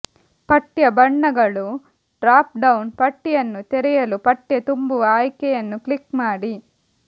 ಪಠ್ಯ ಬಣ್ಣಗಳು drop down ಪಟ್ಟಿಯನ್ನು ತೆರೆಯಲು ಪಠ್ಯ ತುಂಬುವ ಆಯ್ಕೆಯನ್ನು ಕ್ಲಿಕ್ ಮಾಡಿ